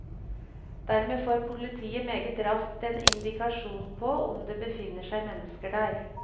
Dermed får politiet meget raskt en indikasjon på om det befinner seg mennesker der.